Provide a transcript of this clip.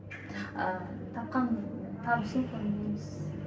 ааа тапқан табысын көрмейміз